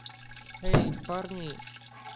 эй парни